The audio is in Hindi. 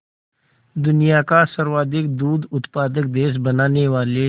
दुनिया का सर्वाधिक दूध उत्पादक देश बनाने वाले